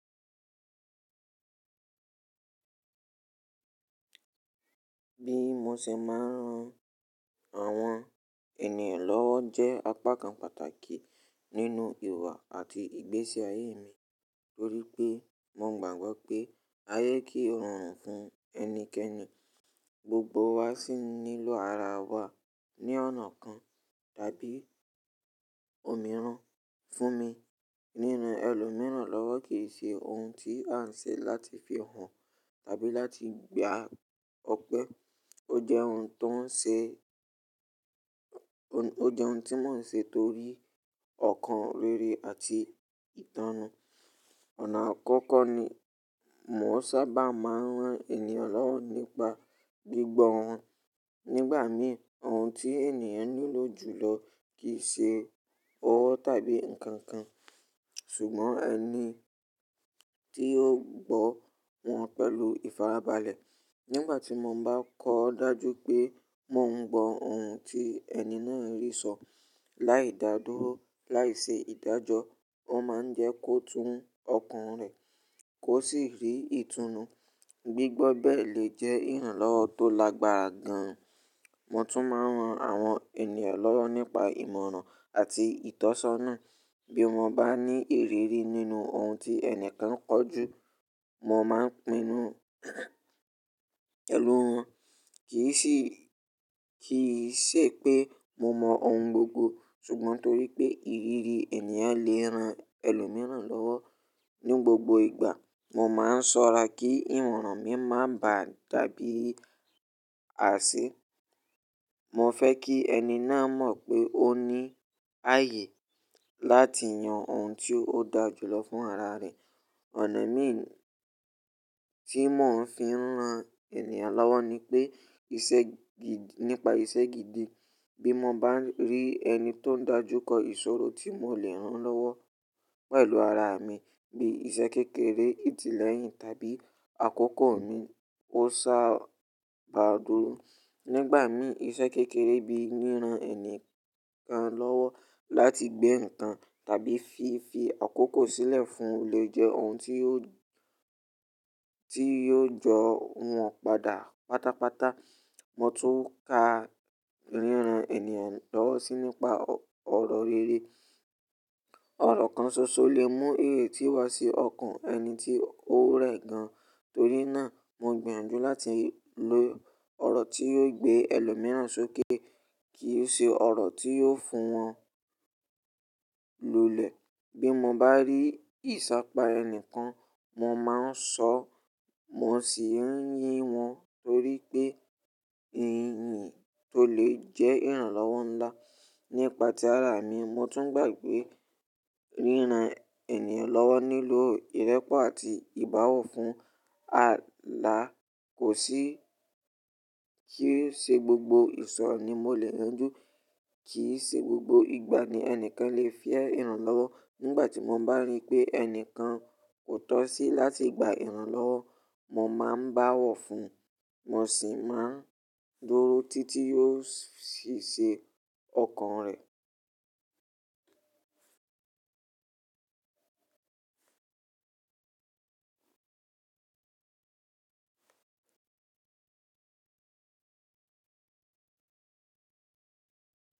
Bí mo ṣe máa ń ran àwọn ènìyàn lọ́wọ́ jẹ́ apá kan pàtàkì nínú ìwà àti ìgbésí ayé mi nítorí pé mo gbàgbọ́ pé ayé kí òòrùn fún ẹnikẹ́ni, gbogbo wa sì nílò ara wa ní ọ̀nà kan tàbí òmíràn. Fún mi, ríran ẹlòmíràn lọ́wọ́ kì í ṣe ohun tí à ń ṣe láti fí hàn tàbí láti gba ọpẹ́. Ó jẹ́ ohun tó ń ṣe, ó jẹ́ ohun tí mò ń ṣe torí ọ̀kan rere àti ìtánná. Ọ̀nà àkọ́kọ́ ni mò ń sábà máa ń ran ènìyàn lọ́wọ́ nípa gbígbọ́ wọn. Nígbà mìí, ohun tí ènìyàn nílò jùlọ kì í ṣe owó tàbí nǹkan kan, ṣùgbọ́n ẹni tí ó gbọ́ wọn pẹ̀lú ìfarabalẹ̀. Nígbà tí mo bá kọ dájú pé mò ń gbọ ohun tí ẹni náà rí sọ, láì dá dóró, láì ṣe ìdájọ́, ó máa ń jẹ́ kó tún ọkàn rẹ̀ kó sì rí ìtúnnu. Gbígbọ́ bẹ́ẹ̀ lè jẹ́ ìrànlọ́wọ́ tó lágbára gan. Mo tún máa ń ran àwọn ènìyàn lọ́wọ́ nípa ìmọ̀ràn àti ìtọ́sọ́nà. Bí mo bá ní ìrírí nínú ohun tí ẹnìkan kọ̀ jú, mo máa ń pinnu pẹlù wọn. Kì í sì, kì í ṣe pé mo mọ ohun gbogbo, ṣùgbọ́n torí pé ìrírí ènìyàn lè ran ẹlòmíràn lọ́wọ́. Ní gbogbo ìgbà, mo máa ń ṣọ́ra kí ìwọ̀ran mi má bà dàbí àṣé. Mo fẹ́ kí ẹni náà mọ̀ pé ó ní ààyè láti yan ohun tí ó da jùlọ fún ara rẹ̀. Ọ̀nà mìí tí mò ń fi ń ran ènìyàn lọ́wọ́ ni pé iṣẹ́ gidi, nípa iṣẹ́ gidi. Bí mo bá rí ẹni tó ń dájú kọ ìṣòro tí mò lè rán lọ́wọ́ pẹ̀lú ara mi bí iṣẹ́ kékeré, ìtí lẹ́yìn tàbí àkókò mi, ó sá bà dúró. Nígbà mìí, iṣẹ́ kékeré bíi ríran ènìyàn kan lọ́wọ́ láti gbé ǹkan tàbí fi fi àkókò sílẹ̀ fún un lè jẹ́ ohun tí yó, tí yó jọ wọ́n padà pátápátá. Mo tún ka ríran ènìyàn lọ́wọ́ síi nípa ọ̀rọ̀ rere. Ọ̀rọ̀ kan ṣoṣo lè mú èrè tí wá sí ọkàn ẹni tí ó rẹ̀ gan. Torí náà, mo gbìyànjú láti lo ọ̀rọ̀ tí yóò gbé ẹlòmíràn sókè kì í ṣe ọ̀rọ̀ tí yóò fún wọn lulẹ̀. Bí mo bá rí ìṣàpá ẹni kan, mo máa ń sọ, mo sì ń yín wọn torí pé ìyìn tó lè jẹ́ ìrànlọ́wọ́ ńlá. Nípa ti ara mi, mo tún gbà pé ríran ènìyàn lọ́wọ́ nílò ìrẹ́pọ̀ àti ìbáwọ̀ fún. À là kò sí kí í ṣe gbogbo ìṣòro ni mo lè yanjú, kì í ṣe gbogbo ìgbà ni ẹnìkan lè fẹ́ ìrànlọ́wọ́. Nígbà tí mo bá rí pé ẹnìkan kò tọ́ sí láti gba ìrànlọ́wọ́, mo máa ń báwọ̀ fún, mo sì máa ń dúró títí yóò sì ṣe ọkàn rẹ̀.